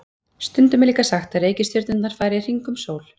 Stundum er líka sagt að reikistjörnurnar fari í hringi um sól.